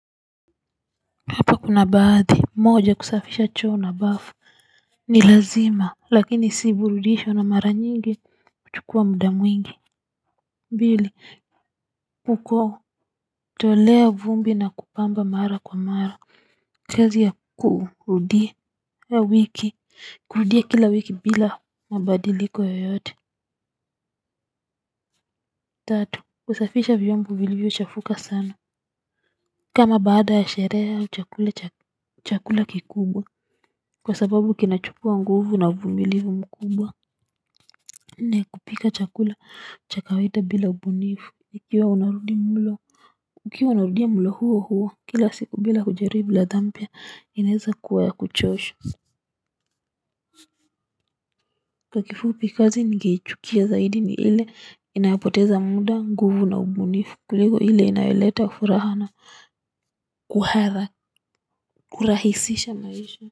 Hapa kuna baadhi moja kusafisha choo na bafu ni lazima lakini si burudisho na mara nyingi kuchukua mda mwingi mbili kuko tolea vumbi na kupamba mara kwa mara kezi ya kuudia ya wiki kurudia kila wiki bila mabadiliko yoyote tatu kusafisha vyombo vilivyo chafuka sana kama baada ya sherehe au chakula kikubwa. Kwa sababu kinachukua nguvu na uvumilivu mkubwa nne kupika chakula cha kawida bila ubunifu. Ikiwa unarudi mulo ukiwa unarudia mlo huo huo kila siku bila kujaribu ladha mpya inaeza kuwa kuchosha. Kwa kifupi kazi ningeichukia zaidi ni ile inayapoteza muda nguvu na ubunifu kuliko ile inayoleta furaha na kuharra. Kurahisisha maisha.